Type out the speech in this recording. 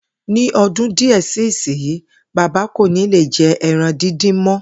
Ní o̩dún díè si ìsinyií, bàbá kò ní lè je̩ e̩ran díndín mó̩